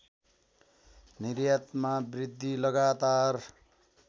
निर्यातमा वृद्धि लगातार